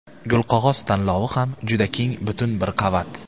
Gulqog‘oz tanlovi ham juda keng butun bir qavat.